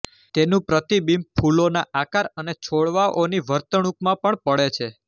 તેનું પ્રતિબિંબ ફૂલોના આકાર અને છોડવાઓની વર્તણૂકમાં પણ પડે છે